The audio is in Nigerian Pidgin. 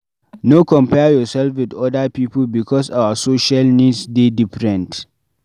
No compare yourself with oda pipo because our social needs dey different